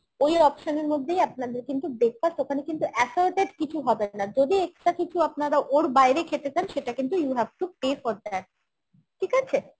ওই option এর মধ্যেই আপনাদের কিন্তু breakfast ওখানে কিন্তু assorted কিছু হবে না যদি extra কিছু আপনারা ওর বাইরে খেতে চান সেটা কিন্তু you have to pay for that ঠিক আছে?